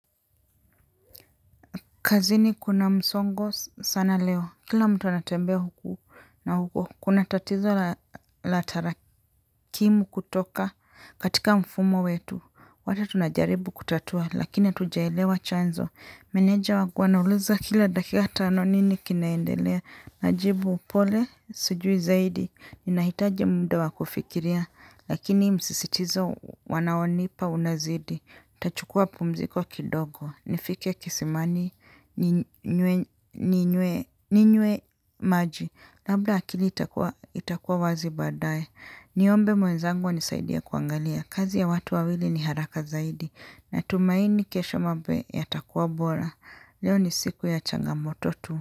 Kazini kuna msongo sana leo. Kila mtu anatembea huku na huko, kuna tatizo la tarakimu kutoka katika mfumo wetu. Wata tunajaribu kutatua, lakini tujaelewa chanzo. Meneja wangu anauliza kila dakika tano nini kinaendelea. Najibu upole, sujui zaidi. Ninahitaji muda wa kufikiria, lakini msisitizo wanaonipa unazidi. Tachukua pumziko kidogo, nifike kisimani, ninywe maji. Labda akili itakua wazi baadaye. Niombe mwenzangu anisaidia kuangalia kazi ya watu wawili ni haraka zaidi. Natumaini kesho mambo yatakua bora. Leo ni siku ya changamoto tu.